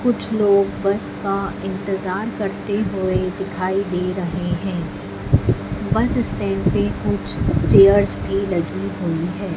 कुछ लोग बस का इंतजार करते हुए दिखाई दे रहे हैं बस स्टैंड पर कुछ चेयर्स भी लगी हुई है।